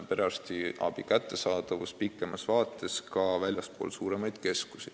Peame ju arvestama nii meie demograafilist seisu kui ka Eesti-sisest rännet.